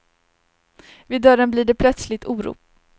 Vid dörren blir det plötsligt oro.